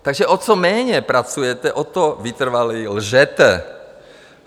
Takže o co méně pracujete, o to vytrvaleji lžete.